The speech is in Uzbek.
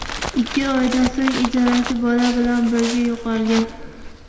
Ikki oydan so‘ng ijarachi bola bilan birga yo‘qolgan.